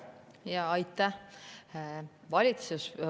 Jaa, aitäh!